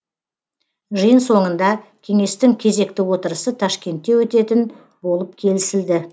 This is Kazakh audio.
жиын соңында кеңестің кезекті отырысы ташкентте өтетін болып келісілді